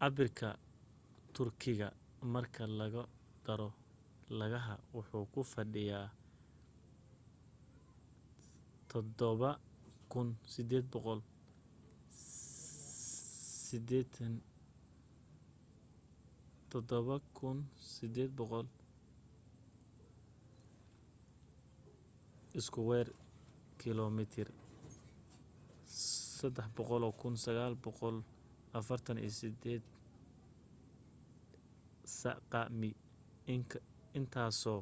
cabirka turkiga marka lagu daro lagaha waxuu ku fadhiya 783,562 iskuweer kiilomitir 300,948 sq mi intaaso